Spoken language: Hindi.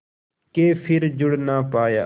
के फिर जुड़ ना पाया